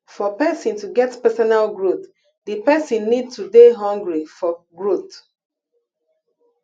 for person to get personal growth di person need to dey hungry for growth